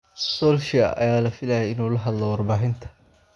Solskjaer ayaa la filayay inuu la hadlo warbaahinta.